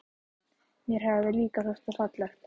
Mér hafði líka þótt það fallegt.